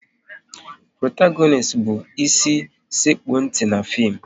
Protagonist bụ ịsi sekpu ntị n'fim